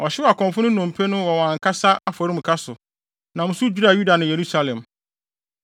Ɔhyew akɔmfo no nnompe no wɔ wɔn ankasa afɔremuka so, nam so dwiraa Yuda ne Yerusalem.